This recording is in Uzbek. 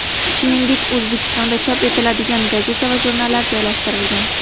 Shuningdek, O‘zbekistonda chop etiladigan gazeta va jurnallar joylashtirilgan.